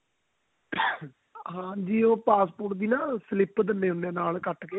ਹਾਂਜੀ ਉਹ passport ਦੀ slip ਦਿੰਦੇ ਹੁੰਦੇ ਆ ਕੱਟ ਕੇ